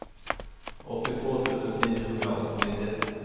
åttiotvå tusen niohundraåttionio